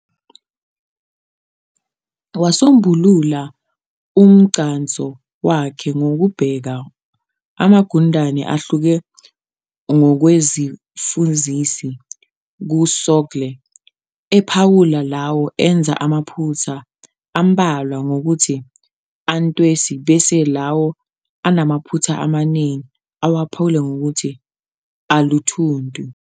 Wasombulula umgcanso wakhe ngokubeka amagundane ahluke ngokwezifuzisi kusogekle, ephawula lawo enza amaphutha ambalwa ngokuthi "antwesi", bese lawo anamaphutha amaningi awaphawula ngokuthi "aluthuntu".